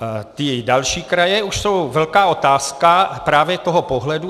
Ty další kraje už jsou velká otázka právě toho pohledu.